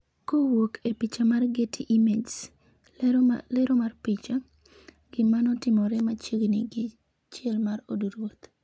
Kowuok e picha mar getty images, Lero mar picha, Gima notimore machiegni gi chiel mar od ruoth